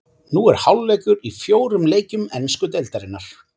Nú er hálfleikur í fjórum leikjum ensku deildarinnar.